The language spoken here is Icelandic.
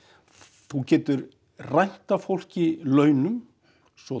þú getur rænt af fólki launum svo